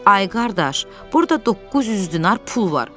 Ay qardaş, burda 900 dinar pul var.